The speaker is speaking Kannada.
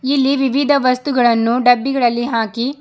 ಇಲ್ಲಿ ವಿವಿಧ ವಸ್ತುಗಳನ್ನು ಡಬ್ಬಿಗಳಲ್ಲಿ ಹಾಕಿ--